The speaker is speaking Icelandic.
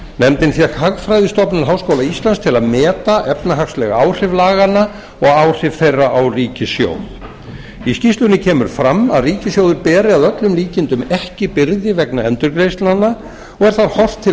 nefndin fékk hagfræðistofnun háskóla íslands til að meta efnahagsleg áhrif laganna og áhrif þeirra á ríkissjóð í skýrslunni kemur fram að ríkissjóður beri að öllum líkindum ekki byrði vegna endurgreiðslnanna og er þá horft til